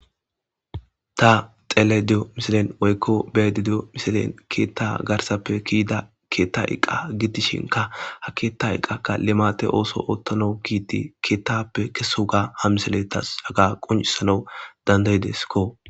Ta xele diyo misilen woykko beedi diyo misilen keetta garsappe kiida keetta iqqa gidishinka ha keeta iqqaka limate ooso oottano giiti keettappe keso ga hamisele tas aga quncisana dandayideskko.